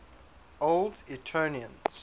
old etonians